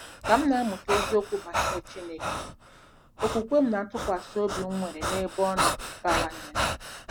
Ka m na-amụta eziokwu banyere Chineke, okwukwe m na ntụkwasị obi m nwere n'ebe Ọ nọ bawanyere.